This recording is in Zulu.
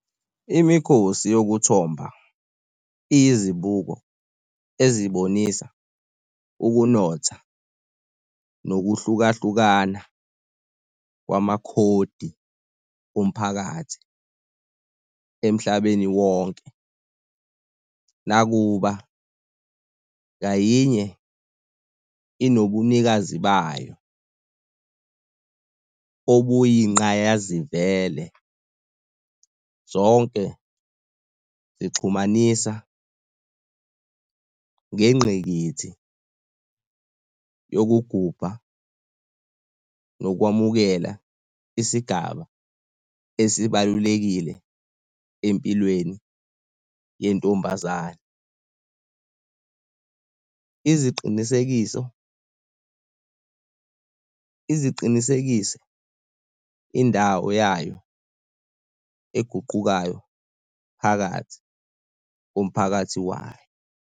Imikhosi yokuthomba iyizibuko ezibonisa ukunotha nokuhlukahlukana kwamakhodi omphakathi emhlabeni wonke. Nakuba ngayinye inobunikazi bayo obuyingqayazivele, zonke zixhumanisa ngengqikithi yokugubha nokwamukela isigaba esibalulekile empilweni yentombazane. Iziqinisekiso ize iqinisekise indawo yayo eguqukayo phakathi komphakathi wayo.